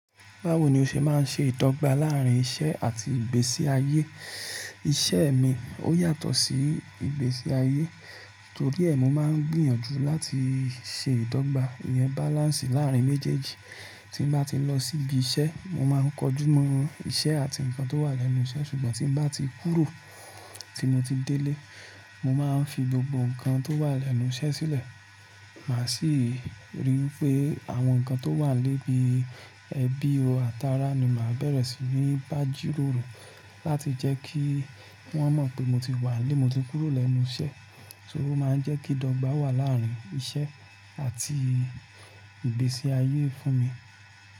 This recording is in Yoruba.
Báwo ni o ṣe máa ń ṣe ìdọ́gba làárín iṣẹ́ àti ìgbésí ayé? Iṣẹ́ mi ó yàtọ̀ sí ìgbésí ayé, torí ẹ́, mo máa ń gbìyànjú láti ṣe ìdọ́gba, ìyẹn balance láàrín méjèèjì. Tí n bá ti lọ sí ibi iṣẹ́, mo máa ń kojú mọ iṣẹ́ àti nǹkan tó wà lẹ́nu iṣẹ́. Ṣùgbọ́n tí n bá ti kúrò, tí mo ti délé, mo máa ń fi gbogbo nǹkan tó wà lẹ́nu iṣẹ́ sílẹ̀. Màá sì rí wipé àwọn nǹkan tó wà lébi ẹbí ọ àtàrá ni màá bẹ̀rẹ̀ sí ní bàjiròrò láti jẹ́ kí wọ́n mọ̀ pé mo ti wà n le, mo ti kúrò lẹ́nu iṣẹ́. Torí ó máa ń jẹ́ kí ìdọ̀gba wà láárín iṣẹ́ àti ìgbésí ayé fún mi.